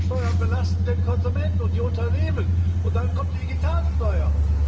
Höhere Steuern belasten den Konsumenten und die Unternehmen, und dann kommt die Digitalsteuer.